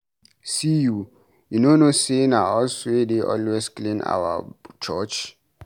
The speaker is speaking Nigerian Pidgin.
See you, you no know say na us wey dey always clean our church.